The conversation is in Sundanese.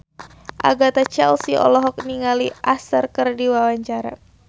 Agatha Chelsea olohok ningali Usher keur diwawancara